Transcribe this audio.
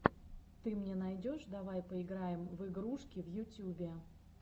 ты мне найдешь давай поиграем в игрушки в ютюбе